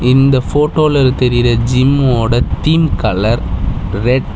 இந்த போட்டோல தெரியிற ஜிம்மோட தீம் கலர் ரெட் .